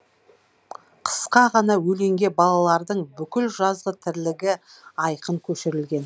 қысқа ғана өлеңге балалардың бүкіл жазғы тірлігі айқын көшірілген